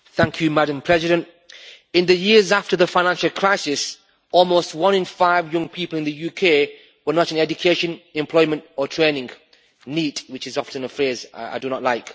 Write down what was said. Madam President, in the years after the financial crisis almost one in five young people in the UK were not in education, employment or training, NEET', which is often a phrase I do not like.